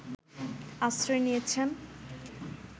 আশ্রয় নিয়েছেন